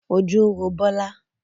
Ojú ń ro Bola